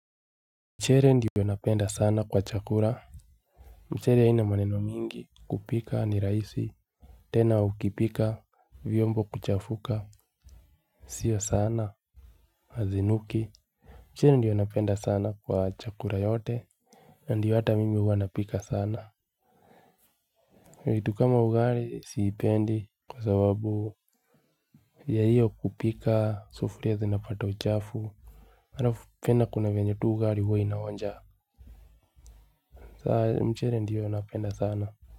Mchele ndiyo napenda sana kwa chakula. Mchere haina maneno mingi kupika ni rahisi. Tena ukipika vyombo kuchafuka. Sio sana hazinuki. Mchele ndiyo napenda sana kwa chakula yote. Na ndio hata mimi huwa napika sana vitu kama ugali sipendi kwa sababu ya hiyo kupika sufuria zinapata uchafu. Halafu tena kuna venye tu ugali huwa inaonja. Saa mchele ndiyo napenda sana.